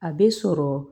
A bɛ sɔrɔ